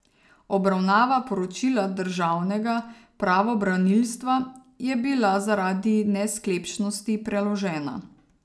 Obravnava poročila državnega pravobranilstva je bila zaradi nesklepčnosti preložena.